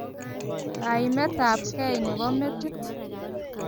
kaimetab gei ne bo metit.